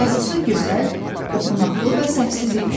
Yazısı gözəl, oxunaqlı və səhvsiz idi.